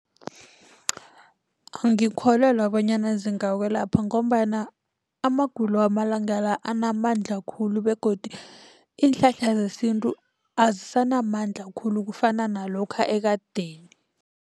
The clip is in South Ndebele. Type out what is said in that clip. Angikholelwa bonyana zingakwelapha ngombana amagulo wamalanga la anamandla khulu begodu iinhlahla zesintu azisanamandla khulu kufana nalokha ekadeni.